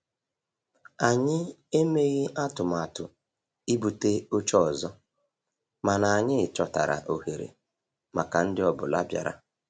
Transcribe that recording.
Anyị emeghị atụmatụ ibute oche ọzọ, mana anyị chọtara ohere maka ndi ọ bụla bịara.